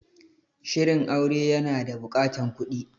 Shirin aure ya na buƙatan kuɗi